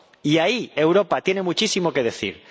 Y ahí Europa tiene muchísimo que decir.